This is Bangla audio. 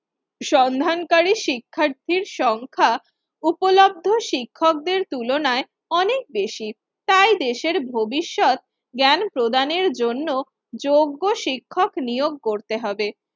সন্ধান কারী শিক্ষার্থীর সংখ্যা উপলব্ধ শিক্ষকদের তুলনায় অনেক বেশি। তাই দেশের ভবিষ্যৎ জ্ঞান প্রদানের জন্য যোগ্য শিক্ষক নিয়োগ করতে হবে।